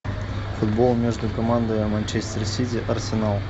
футбол между командами манчестер сити арсенал